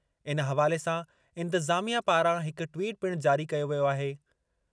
इन हवाले सां इंतिज़ामिया पारां हिक ट्वीट पिणु जारी कयो वियो आहे।